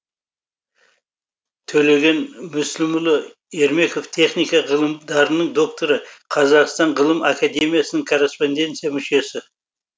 төлеген мүсілімұлы ермеков техника ғылымдарының докторы қазақстан ғылым академиясының корреспонденция мүшесі